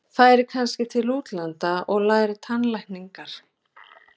Færi kannski til útlanda að læra tannlækningar.